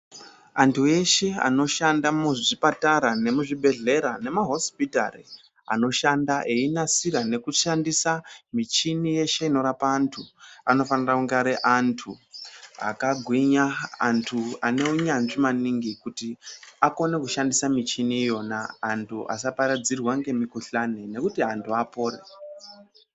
Antu eshe anoshanda muzvipatara, muzvibhedhlera, nemumahosipitari, anoshanda einasira nekushandisa ,michini yeshe inorapa antu, anofanira kunga ari antu akagwinya, antu ane unyanzvi maningi, kuti akone kushandisa michini iyona, antu asaparadzirwa ngemikhuhlani ,nekuti antu apore.